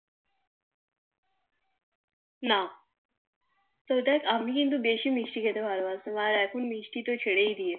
না না দেখ আমি কিন্তু বেশি মিষ্টি খেতে ভালো বাসতাম আর এখন দেখ মিষ্টি খাওয়া তো ছেড়ে দিয়েছি